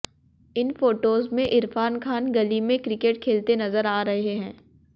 इन photos में इरफान खान गली में क्रिकेट खेलते नजर आ रहे हैं